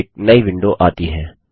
एक नई विंडो आती है